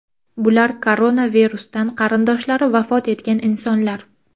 Bular koronavirusdan qarindoshlari vafot etgan insonlar.